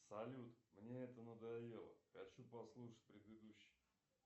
салют мне это надоело хочу послушать предыдущий